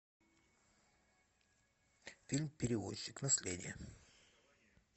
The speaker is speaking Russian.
фильм перевозчик наследие